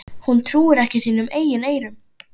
Hún trúir ekki sínum eigin eyrum.